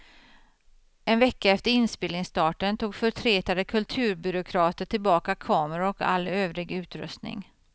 En vecka efter inspelningsstarten tog förtretade kulturbyråkrater tillbaka kameror och all övrig utrustning.